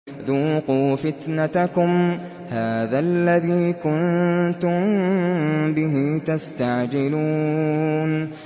ذُوقُوا فِتْنَتَكُمْ هَٰذَا الَّذِي كُنتُم بِهِ تَسْتَعْجِلُونَ